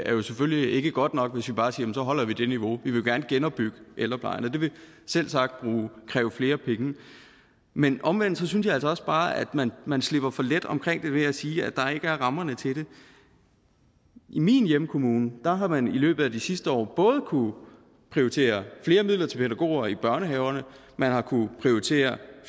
jo selvfølgelig ikke godt nok hvis vi bare siger at så holder vi det niveau vi vil jo gerne genopbygge ældreplejen og det vil selvsagt kræve flere penge men omvendt synes jeg altså også bare at man man slipper for let omkring det ved at sige at der ikke er rammerne til det i min hjemkommune har man i løbet af de sidste år både kunnet prioritere flere midler til pædagoger i børnehaverne man har kunnet prioritere